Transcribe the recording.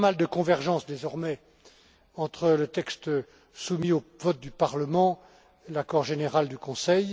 Il y a pas mal de convergences désormais entre le texte soumis au vote du Parlement et l'accord général du Conseil.